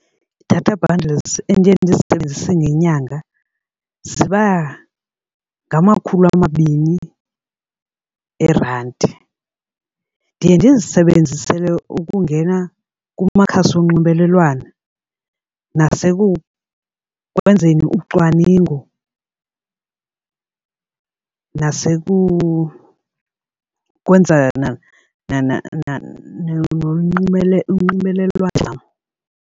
Ii-data bundles endiye ndizisebenzise ngenyanga ziba ngamakhulu amabini eerandi. Ndiye ndizisebenzisele ukungena kumakhasi onxibelelwano, nasekwenzeni ucwaningo kunye ukwenza unxibelelwano.